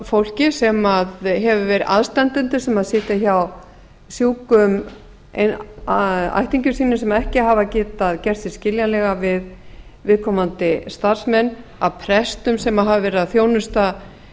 fólki sem hefur verið aðstandendur sem sitja hjá sjúkum ættingjum sínum sem ekki hafa getað gert sig skiljanlega við viðkomandi starfsmenn af prestum sem hafa verið að þjónusta